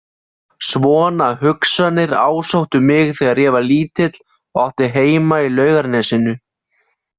Svona hugsanir ásóttu mig þegar ég var lítil og átti heima í Laugarnesinu.